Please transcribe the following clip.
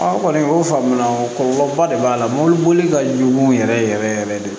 kɔni o faamu na o kɔlɔlɔba de b'a la mɔbiliboli ka jugu yɛrɛ yɛrɛ de